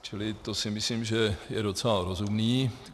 Čili to si myslím, že je docela rozumné.